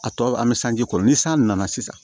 A tɔ an bɛ sanji kɔrɔ ni san nana sisan